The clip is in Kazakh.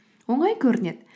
оңай көрінеді